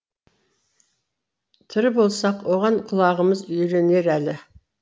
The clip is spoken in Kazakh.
тірі болсақ оған құлағымыз үйренер әлі